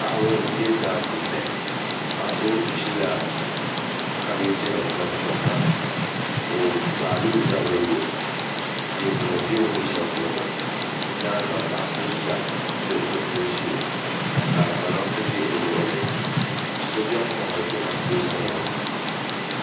Paɣaba n bɛ daa puuni paɣa so zi la kabeeji nim gbuni kɔhira o gbaa la o zabiri lo leemu nima bɛ o ni bɛ shɛli polo ŋɔ yɛanga paɣa so ziya ka pili zipiligu zɛɛ ka kpalaŋsi bɛ o luɣuli so bɛni kɔhari tomatoosi nima.